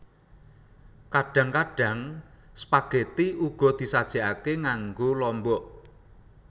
Kadhang kadhang spageti uga disajekake nganggo lombok